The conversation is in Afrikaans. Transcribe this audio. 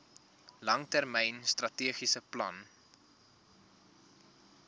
langtermyn strategiese plan